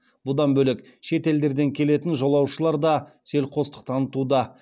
бұдан бөлек шет елдерден келетін жолаушылар да селқостық танытуда